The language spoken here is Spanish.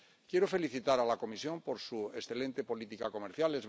Quiero felicitar a la Comisión por su excelente política comercial.